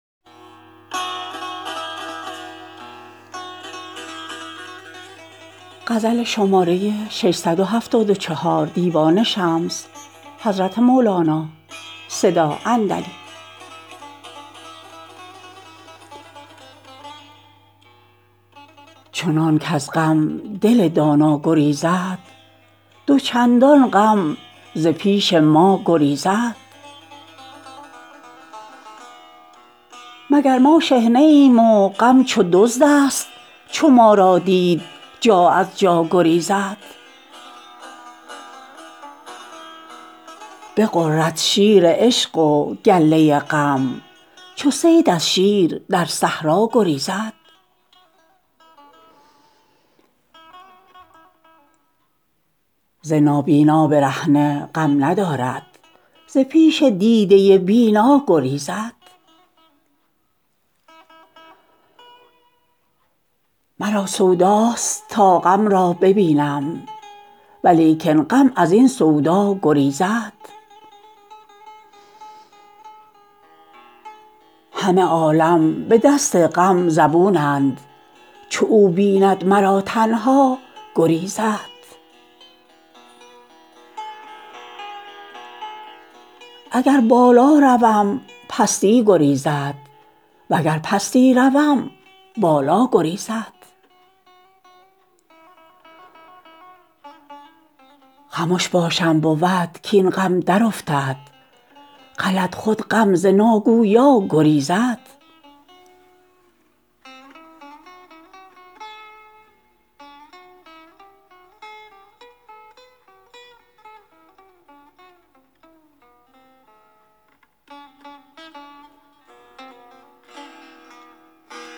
چنان کز غم دل دانا گریزد دو چندان غم ز پیش ما گریزد مگر ما شحنه ایم و غم چو دزدست چو ما را دید جا از جا گریزد بغرد شیر عشق و گله غم چو صید از شیر در صحرا گریزد ز نابینا برهنه غم ندارد ز پیش دیده بینا گریزد مرا سوداست تا غم را ببینم ولیکن غم از این سودا گریزد همه عالم به دست غم زبونند چو او بیند مرا تنها گریزد اگر بالا روم پستی گریزد وگر پستی روم بالا گریزد خمش باشم بود کاین غم درافتد غلط خود غم ز ناگویا گریزد